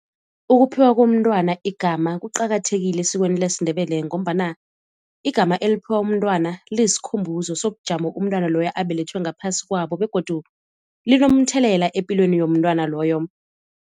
Ukuphiwa komntwana igama kuqakathekile esikweni lesiNdebele, ngombana igama eliphiwa umntwana liyisikhumbuzo sobujamo umntwana loyo abelethwe ngaphasi kwabo, begodu linomthelela epilweni yomntwana loyo.